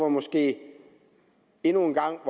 måske endnu en gang